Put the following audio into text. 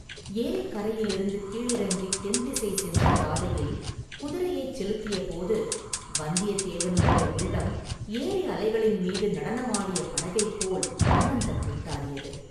________________ ஏரிக் கரையிலிருந்து கீழிறங்கித் தென்திசை சென்ற பாதையில் குதிரையைச் செலுத்தியபோது வந்தியத்தேவனுடைய உள்ளம் ஏரி அலைகளின் மீது நடனமாடிய படகைப் போல் ஆனந்தக் கூத்தாடியது.